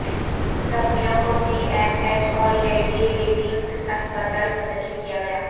زخمیوں کو C M H اور لیڈی ریڈنگ ہسپتال منتقل کیا گیا